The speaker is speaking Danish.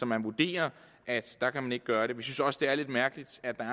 man vurderer at der kan man ikke gøre det vi synes også det er lidt mærkeligt